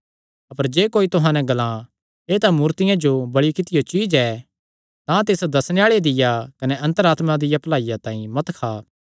अपर जे कोई तुहां नैं ग्लां एह़ तां मूर्तियां जो बल़ि कित्तियो चीज्ज ऐ तां तिस दस्सणे आल़े दिया कने अन्तर आत्मा दिया भलाईया तांई मत खा